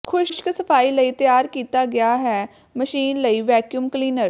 ਖੁਸ਼ਕ ਸਫਾਈ ਲਈ ਤਿਆਰ ਕੀਤਾ ਗਿਆ ਹੈ ਮਸ਼ੀਨ ਲਈ ਵੈਕਿਊਮ ਕਲੀਨਰ